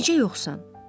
Necə yoxsan?